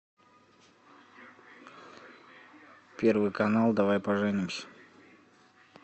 первый канал давай поженимся